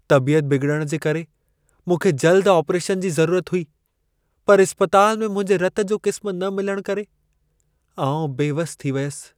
तबियत बिगिड़ण जे करे मूंखे जल्द आपरेशन जी ज़रूरत हुई, पर इस्पतालि में मुंहिंजे रत जो क़िस्मु न मिलण करे आउं बेवसि थी वियसि।